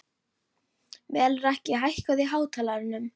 Melrakki, hækkaðu í hátalaranum.